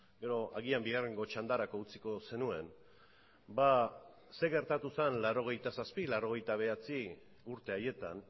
edo agian bigarrengo txandarako utziko zenuen ba ze gertatu zen laurogeita zazpi laurogeita bederatzi urte haietan